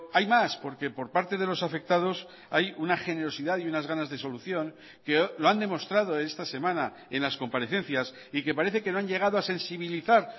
hay más porque por parte de los afectados hay una generosidad y unas ganas de solución que lo han demostrado esta semana en las comparecencias y que parece que no han llegado a sensibilizar